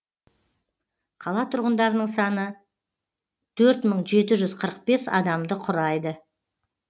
қала тұрғындарының саны төрт мың жеті жүз қырық бес адамды құрайды